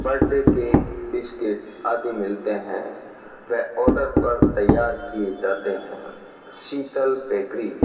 बड्डे cake biscuit आदि मिलते हैं व आर्डर पर तैयार किए जाते हैं शीतल बेकरी --